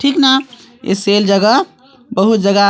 ठीक न ए सेल जगह बहुत जगह--